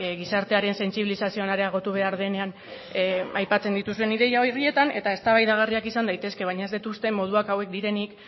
gizartearen sentsibilizazioan areagotu behar denean aipatzen dituzuen ideia horietan eta eztabaidagarriak izan daitezke baina ez dut uste moduak hauek direnik